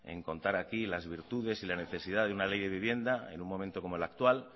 en contar aquí las virtudes y la necesidad de una ley de vivienda en un momento como el actual